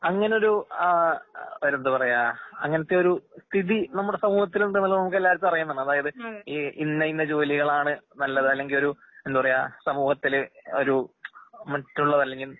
അങ്ങാനൊരൂ ആഹ് വേറെന്തുപറയാ അങ്ങനത്തെയൊരു സ്ഥിതി നമ്മുടെസമൂഹത്തിലുണ്ട്ന്നുള്ള നമുക്കെല്ലാവർക്കും അറിയാന്നാണ്. അതായത് ഈ ഇന്നയിന്ന ജോലികളാണ് നല്ലത് അല്ലെങ്കിയൊരു എന്ത്പറയാ സമൂഹത്തില് ഒരു മറ്റുള്ള